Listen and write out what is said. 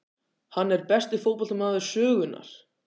Er hann besti fótboltamaður sögunnar?